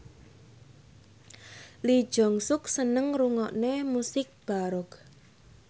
Lee Jeong Suk seneng ngrungokne musik baroque